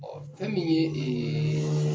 fɛn min ye